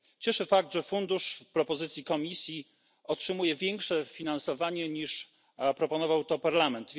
Cieszy fakt, że fundusz w propozycji Komisji otrzymuje większe finansowanie, niż proponował to Parlament.